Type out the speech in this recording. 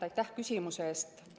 Aitäh küsimuse eest!